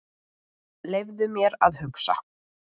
Leyfðu mér að hugsa.